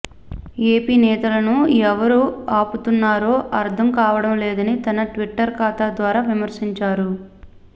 AP నేతలను ఎవరు ఆపుతున్నారో అర్థం కావడం లేదని తన ట్విట్టర్ ఖాతా ద్వారా విమర్శించారు